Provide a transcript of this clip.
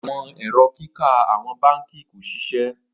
Awọn ẹrọ kika awọn banki ko ṣiṣẹ